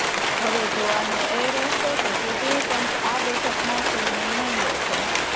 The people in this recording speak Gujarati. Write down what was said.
હવે જોવાનું એ રહેશે કે ચૂંટણી પંચ આ બેઠકમાં શું નિર્ણય લે છે